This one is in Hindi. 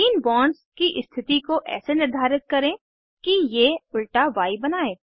तीन बॉन्ड्स की स्थिति को ऐसे निर्धारित करें कि ये उल्टा य बनायें